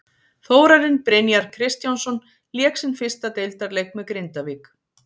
Þórarinn Brynjar Kristjánsson lék sinn fyrsta deildarleik með Grindavík.